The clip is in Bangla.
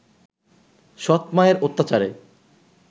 সৎ-মায়ের অত্যাচারে